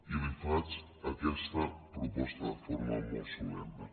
i li faig aquesta proposta de forma molt solemne